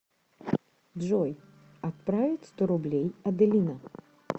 джой отправить сто рублей аделина